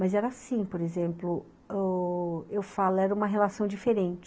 Mas era assim, por exemplo, ó, eu falo, era uma relação diferente.